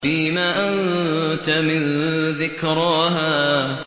فِيمَ أَنتَ مِن ذِكْرَاهَا